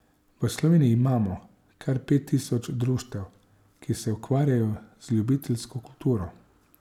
V Sloveniji imamo kar pet tisoč društev, ki se ukvarjajo z ljubiteljsko kulturo.